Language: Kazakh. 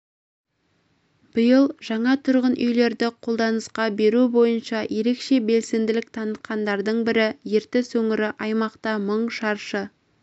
биыл жаңа тұрғын үйлерді қолданысқа беру бойынша ерекше белсенділік танытқандардың бірі ертіс өңірі аймақта мың шаршы